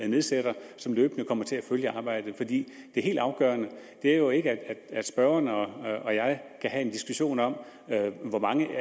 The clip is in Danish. nedsætter og som løbende kommer til at følge arbejdet for det helt afgørende er jo ikke at spørgeren og og jeg kan have en diskussion om hvor mange